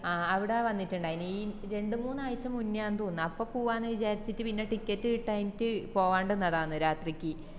ആഹ് അവിടെ വന്നിറ്റിണ്ടായിന് ഈ രണ്ട് മൂന്നാഴ്ച മുന്നെയാന്ന് തോന്നിന്ന് അപ്പൊ പോവാന്ന് വിചാരിച്ചിറ്റ് പിന്നാ ticket കിട്ടായിറ്റ് പോവാണ്ട് നിന്നെയെന്ന് രാത്രിക്ക്